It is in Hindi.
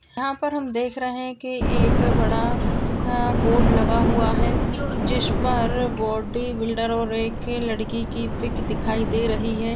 यहा पर हम देख रहे है कि एक बड़ा बोर्ड लगा हुआ है जो जिस पर बॉडीबिल्डर और एक लड़की की पिक दिखाई दे रही है।